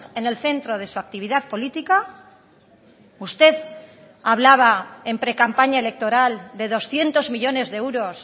en el centro de su actividad política usted hablaba en precampaña electoral de doscientos millónes de euros